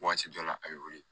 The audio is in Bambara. Waati dɔ la a bɛ wuli